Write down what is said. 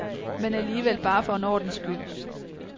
Men alligevel, bare for en ordens skyld.